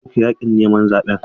An soke yakin neman zaben.